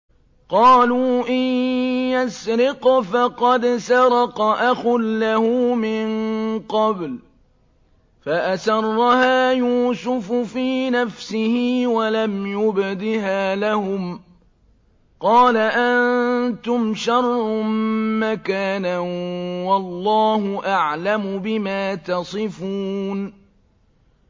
۞ قَالُوا إِن يَسْرِقْ فَقَدْ سَرَقَ أَخٌ لَّهُ مِن قَبْلُ ۚ فَأَسَرَّهَا يُوسُفُ فِي نَفْسِهِ وَلَمْ يُبْدِهَا لَهُمْ ۚ قَالَ أَنتُمْ شَرٌّ مَّكَانًا ۖ وَاللَّهُ أَعْلَمُ بِمَا تَصِفُونَ